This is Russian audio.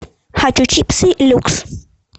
хочу чипсы люкс